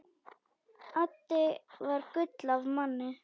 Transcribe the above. Addi var gull af manni.